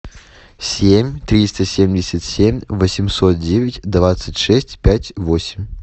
семь триста семьдесят семь восемьсот девять двадцать шесть пять восемь